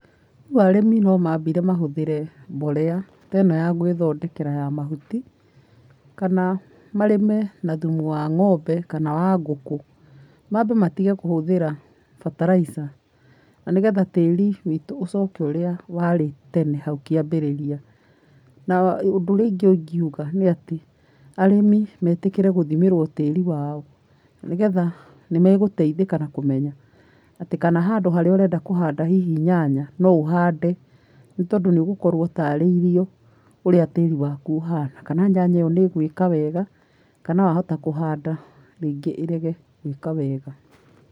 Rĩu arĩmi no mambire mahũthĩre mborera ta ĩno ya gwĩthondekera ya mahuti, kana marĩme na thumu wa ngombe kana wa ngũkũ. Mambe matige kũhũthĩra bataraitha, na nĩgetha tĩri witu ũcoke ũrĩa warĩ tene hau kĩambĩrĩria. Na ũndũ ũrĩa ũngĩ ingiuga nĩ ati arĩmi metĩkĩre gũthimĩrwo tĩri wao nĩgetha nĩmegũteithka na kũmenya atĩ kana handũ harĩa ũrenda kũhanda hihi nyanya no ũhande nĩtondũ nĩũgũkorwo ũtarĩirio ũrĩa tĩri waku ũhana, kana nyanya ĩyo nĩ ĩgwĩka wega, kana wahota kũhanda rĩngĩ ĩrega gwika wega.